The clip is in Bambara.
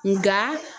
Nga